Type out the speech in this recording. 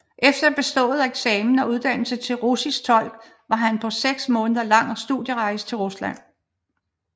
Efter bestået eksamen og uddannelse til russisk tolk var han på en seks måneder lang studierejse til Rusland